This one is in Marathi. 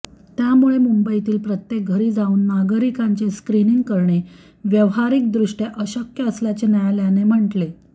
त्यामुळे मुंबईतील प्रत्येक घरी जाऊन नागरिकांचे स्क्रीनिंग करणे व्यावहारिकदृष्ट्या अशक्य असल्याचे न्यायालयाने म्हटले